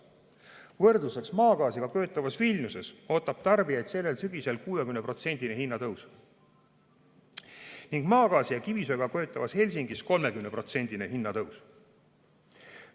Võrdluseks: maagaasiga köetavas Vilniuses ootab tarbijaid sellel sügisel 60%‑line hinnatõus ning maagaasi ja kivisöega köetavas Helsingis 30%‑line hinnatõus.